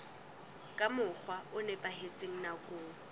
ka mokgwa o nepahetseng nakong